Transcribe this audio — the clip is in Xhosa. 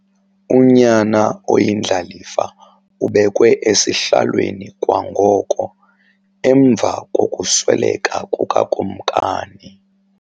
Unyana oyindlalifa ubekwe esihlalweni kwangoko emva kokusweleka kukakumkani.